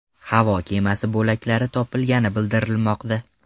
Havo kemasi bo‘laklari topilgani bildirilmoqda.